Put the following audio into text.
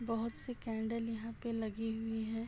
बोहोत सी कैंडल यहाँ पे लगी हुई हैं।